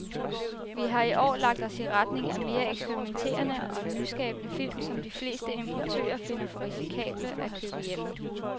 Vi har i år lagt os i retning af mere eksperimenterede og nyskabende film, som de fleste importører finder for risikable at købe hjem.